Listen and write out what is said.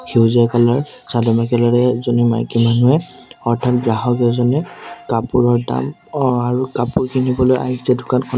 সেউজীয়া কালাৰ চাদৰ মেখেলাৰে এজনী মাইকী মানুহে অৰ্থাৎ গ্ৰাহক এজনে কাপোৰৰ দাম অ আৰু কাপোৰ কিনিবলৈ আহিছে দোকানখনত।